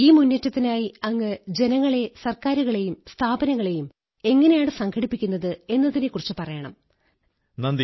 ഈ മുന്നേറ്റത്തിനായി അങ്ങ് ജനങ്ങളെ സർക്കാരുകളെ സ്ഥാപനങ്ങളെ എങ്ങനെയാണ് സംഘടിപ്പിക്കുന്നത് എന്നതിനെക്കുറിച്ച് പറയണം നന്ദി